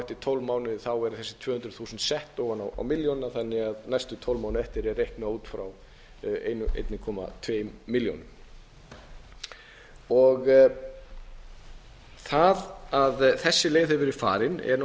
tólf mánuði eru þessi tvö hundruð þúsund sett ofan á milljónina þannig að næstu tólf mánuði eftir er reiknað út frá einum komma tveimur milljónum það að þessi leið hefur verið farin er